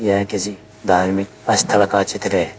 यह किसी धार्मिक स्थल का चित्र है।